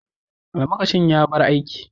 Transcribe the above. Almakashin ya bar aiki.